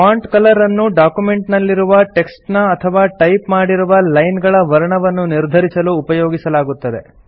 font colour ಅನ್ನು document ನಲ್ಲಿರುವ text ನ ಅಥವಾ ಟೈಪ್ ಮಾಡಿರುವ ಲೈನ್ ಗಳ ವರ್ಣವನ್ನು ನಿರ್ಧರಿಸಲು ಉಪಯೋಗಿಸಲಾಗುತ್ತದೆ